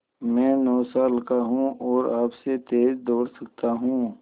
मैं नौ साल का हूँ और आपसे तेज़ दौड़ सकता हूँ